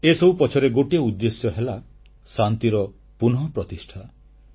ଏସବୁ ପଛରେ ଗୋଟିଏ ଉଦ୍ଦେଶ୍ୟ ହେଲା ଶାନ୍ତିର ପୁନଃପ୍ରତିଷ୍ଠା